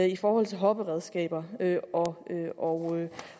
i forhold til hopperedskaber og